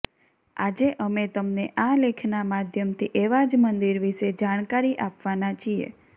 આજે અમે તમને આ લેખના માધ્યમથી એવા જ મંદિર વિષે જાણકારી આપવાના છીએ